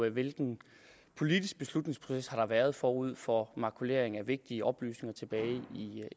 hvilken politisk beslutningsproces der har været forud for makuleringen af vigtige oplysninger tilbage